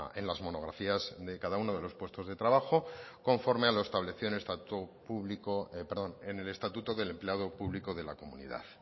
en la monografías de cada uno de los puestos de trabajo conforme a lo establecido en el estatuto del empleado público de la comunidad